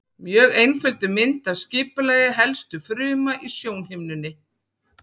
Mjög einfölduð mynd af skipulagi helstu fruma í sjónhimnunni.